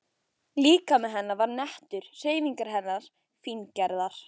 Líkami hennar var nettur, hreyfingar hennar fíngerðar.